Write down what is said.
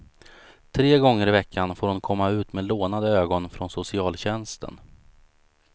Tre gånger i veckan får hon komma ut med lånade ögon från socialtjänsten.